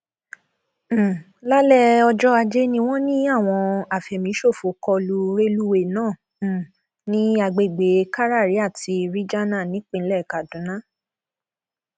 um lálẹ ọjọ ajé ni wọn ní àwọn àfẹmíṣòfò kọ lu rélùwéèe náà um ní agbègbè kárárì àti ríjana nípìnlẹ kaduna